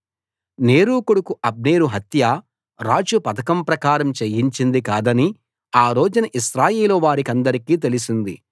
నేరు కొడుకు అబ్నేరు హత్య రాజు పథకం ప్రకారం చేయించింది కాదని ఆ రోజున ఇశ్రాయేలు వారికందరికీ తెలిసింది